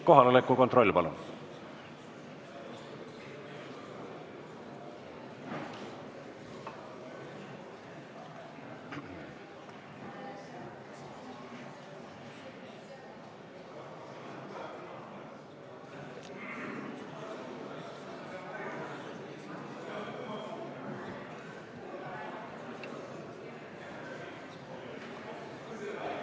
Kohaloleku kontroll, palun!